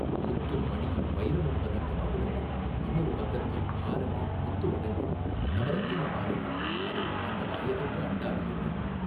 முத்தும் மணியும் வைரமும் பதித்த மகுடங்கள் இன்னொரு பக்கத்தில் ஹாரங்கள் முத்து வடங்கள் நவரத்தின மாலைகள் அதோ அந்த வாயகன்ற அண்டாவில் என்ன.